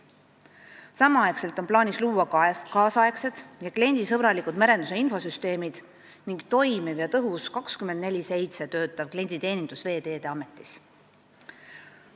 Samal ajal on plaanis luua nüüdisaegsed ja kliendisõbralikud merenduse infosüsteemid ning toimiv ja tõhus 24/7 töötav klienditeenindus Veeteede Ametis.